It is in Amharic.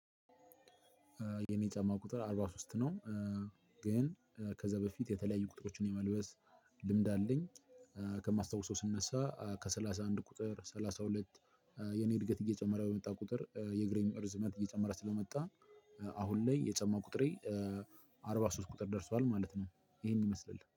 የኔ ጫማ ቁጥር አርባ ሶስት ነው። ግን ከዛ በፊት የተለያዩ ቁጥሮችን የመልበስ ልምድ አለኝ። ከማስታውሰው ስንነሳ ከሰላሳ አንድ ቁጥር ሰላሳ ሁለት የኔ እድገት እየጨመረ በመጣ ቁጥር የእግሬም እርዝመት እየጨመረ ስለመጣ አሁን ላይ የጨማ ቁጥሬ አርባ ሶስት ቁጥር ደርሷል ማለት ነው። ይሄን ይመስላል።